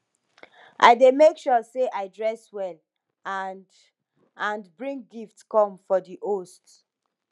i dey make sure say i dress well and and bring gift come for di host